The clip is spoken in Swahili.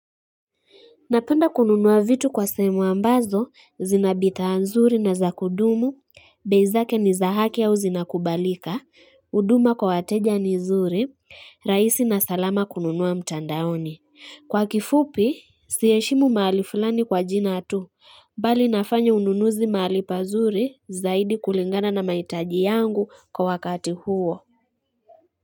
Napenda kununua vitu kwa sehemu ambazo, zinabithaa nzuri na zakudumu, bei zake ni za haki au zinakubalika, uduma kwa wateja ni zuri, raisi na salama kununua mtandaoni. Kwa kifupi, siheshimu mahali fulani kwa jina tu, bali nafanya ununuzi mahali pazuri zaidi kulingana na maitaji yangu kwa wakati huo.